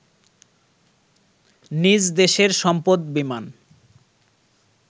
নিজ দেশের সম্পদ বিমান